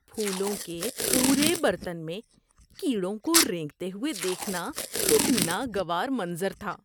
پھولوں کے پورے برتن میں کیڑوں کو رینگتے ہوئے دیکھنا ایک ناگوار منظر تھا۔